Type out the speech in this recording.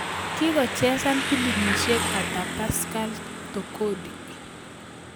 Kigochesan pilimisiek ata Pascal Tokodi